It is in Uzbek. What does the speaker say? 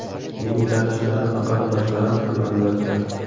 Mening tanishlarim va qarindoshlarim ham, albatta.